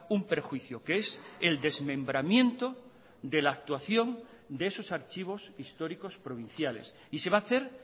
un perjuicio que es el desmembramiento de la actuación de esos archivos históricos provinciales y se va a hacer